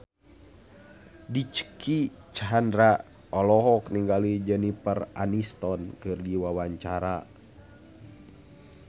Dicky Chandra olohok ningali Jennifer Aniston keur diwawancara